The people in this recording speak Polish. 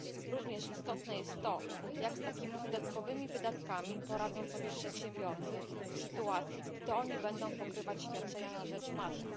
Również istotne jest to, jak z takimi dodatkowymi wydatkami poradzą sobie przedsiębiorcy w sytuacji, gdy to oni będą pokrywać świadczenia na rzecz matek.